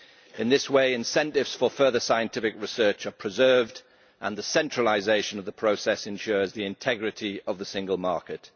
In this way, incentives for further scientific research are preserved and the centralisation of the process ensures the integrity of the Single Market.